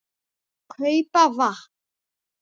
. kaupa vatn.